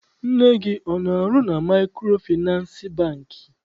Nne gị ọ na- arụ na Maịkrofịnasị Bankị?